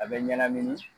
A bɛ ɲanamini